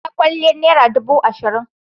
Salon kwalliyar naira dubu ashirin.